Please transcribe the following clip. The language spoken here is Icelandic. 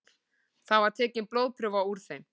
Þar var tekin blóðprufa úr þeim